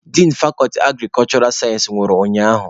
Din fakọlti agrikulshura sayensị nwụrụ ụnyaahụ.